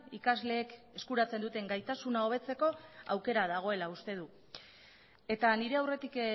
ikasleek eskuratzen duten gaitasuna hobetzeko aukera dagoela uste du eta nire aurretik